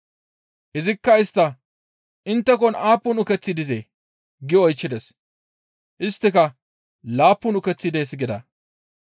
Izikka istta, «Inttekon aappun ukeththi dizee?» gi oychchides. Isttika, «Laappun ukeththi dees» gida.